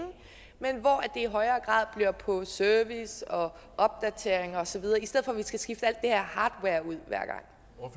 men det i højere grad være på service opdateringer og så videre i stedet for at vi skal skifte alt det her hardware ud